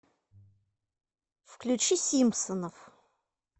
включи симпсонов